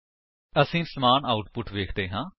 ਅਸੀ ਸਮਾਨ ਆਉਟਪੁਟ ਵੇਖਦੇ ਹਾਂ